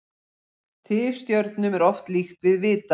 Tifstjörnum er oft líkt við vita.